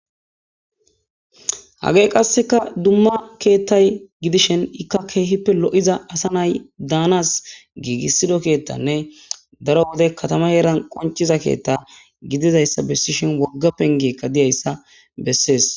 Hage qasseka dumma keettay gidishin ikka keehippe lo'iza asa nay daanas giigissido keettanne daro wode katama yeran qonciza keetta gididayssa bessi shin wogga pengeekka diyayssa bessees.